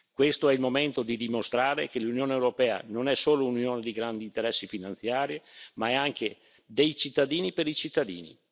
Questo è il momento di dimostrare che l'Unione europea non è solo un'unione di grandi interessi finanziari ma è anche dei cittadini per i cittadini.